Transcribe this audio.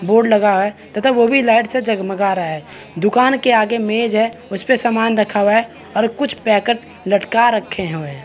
board लगा है तथा वो भी लाइट से जगमगा रहा है दुकान के आगे मेज है उसपे सामान रखा हुआ है और कुछ पैकेट लटका रखे हवय--